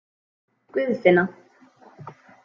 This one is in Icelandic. Guðfinna